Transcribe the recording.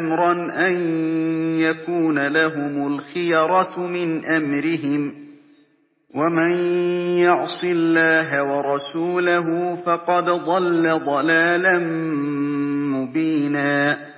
أَمْرًا أَن يَكُونَ لَهُمُ الْخِيَرَةُ مِنْ أَمْرِهِمْ ۗ وَمَن يَعْصِ اللَّهَ وَرَسُولَهُ فَقَدْ ضَلَّ ضَلَالًا مُّبِينًا